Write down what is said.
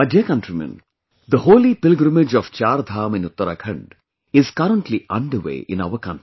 My dear countrymen, the holy pilgrimage of 'CharDham' in Uttarakhand is currently underway in our country